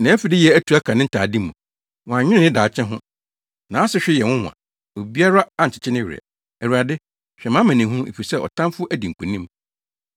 Nʼafideyɛ atu aka ne ntade mu; wannwene ne daakye ho. Nʼasehwe yɛ nwonwa; obiara ankyekye ne werɛ. “ Awurade, hwɛ mʼamanehunu, efisɛ ɔtamfo adi nkonim.”